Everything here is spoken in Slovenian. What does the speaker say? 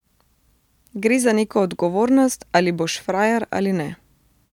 Gre za neko odgovornost, ali boš frajer ali ne.